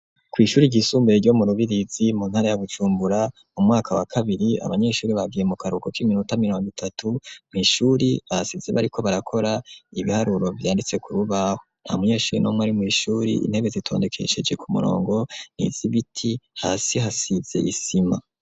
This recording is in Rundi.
Kw'ishuri ryisumbuye ryo murubirizi mu ntara ya Bujumbura umwaka wa kabiri abanyeshure bagiye mukaruhuko k'iminota mirong'itatu, mw'ishuri basize bariko barakora ibiharuro vyanditse kurubaho, ntamunyeshure n'umw'ari mw'ishure, intebe zitondekesheje kumurongo n'izibiti hasi hasiz'isima.